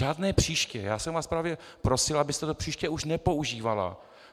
Žádné příště, já jsem vás právě prosil, abyste to příště už nepoužívala.